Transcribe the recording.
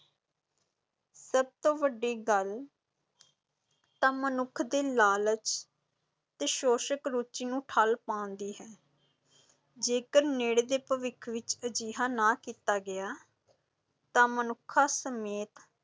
ਸਭ ਤੋਂ ਵੱਡੀ ਗੱਲ ਤਾਂ ਮਨੁੱਖ ਦੇ ਲਾਲਚ ਤੇ ਸ਼ੋਸ਼ਕ ਰੁਚੀ ਨੂੰ ਠੱਲ੍ਹ ਪਾਉਣ ਦੀ ਹੈ ਜੇਕਰ ਨੇੜੇ ਦੇ ਭਵਿੱਖ ਵਿੱਚ ਅਜਿਹਾ ਨਾ ਕੀਤਾ ਗਿਆ ਤਾਂ ਮਨੁੱਖਾਂ ਸਮੇਤ